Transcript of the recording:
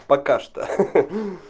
пока что